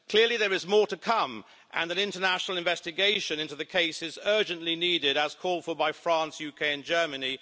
Clearly, there is more to come and an international investigation into the case is urgently needed, as called for by France, the UK and Germany.